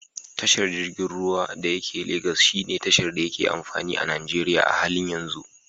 Tashar jirgin ruwan da yake Lagos shine tashar da yake amfani a Najeriya a halin yanzu.